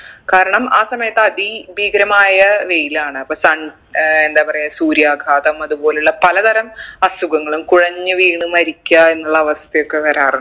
കാരണം ആ സമയത്ത് അതി ഭീകരമായ വെയിലാണ് അപ്പൊ തൺ ഏർ എന്താ പറയ സൂര്യാഘാതം അതുപോലുള്ള പല തരം അസുഖങ്ങളും കുഴഞ്ഞു വീണു മരിക്ക എന്നുള്ള അവസ്ഥയൊക്കെ വരാറ്